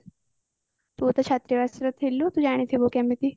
ତୁ ଛତ୍ରାବାସରେ ଥିଲୁ ତୁ ଜାଣିଥିବୁ କେମିତି